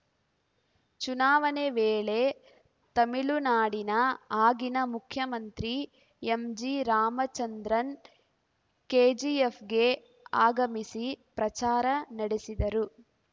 ಚುನಾವಣೆ ವೇಳೆ ತಮಿಳುನಾಡಿನ ಆಗಿನ ಮುಖ್ಯಮಂತ್ರಿ ಎಂಜಿರಾಮಚಂದ್ರನ್‌ ಕೆಜಿಎಫ್‌ಗೆ ಆಗಮಿಸಿ ಪ್ರಚಾರ ನಡೆಸಿದ್ದರು